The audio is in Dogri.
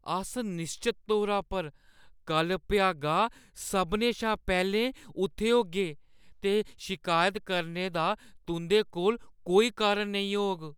अस निश्चत तौरा पर कल्ल भ्यागा सभनें शा पैह्‌लें उत्थै होगे ते शिकायत करने दा तुंʼदे कोल कोई कारण नेईं होग ।